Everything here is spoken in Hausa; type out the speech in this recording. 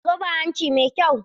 Murja tana da zoben hanci mai kyau.